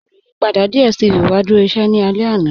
Olùyìpadà DStv wa dúró íṣẹ̀ ní ọ̀lá àná.